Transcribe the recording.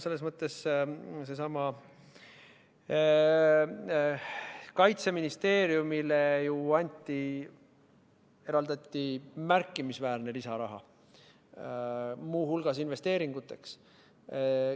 Kaitseministeeriumile eraldati märkimisväärne lisaraha, muu hulgas investeeringuteks.